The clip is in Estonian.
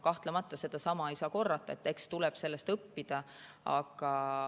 Kahtlemata, sedasama ei saa korrata, eks tuleb sellest õppida.